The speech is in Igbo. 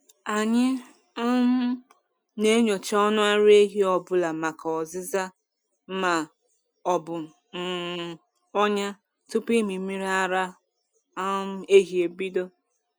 Anyị um na-enyocha ọnụ ara ehi ọ bụla maka ọzịza ma ọ bụ um ọnya tupu ịmị mmiri ara um ehi ebido.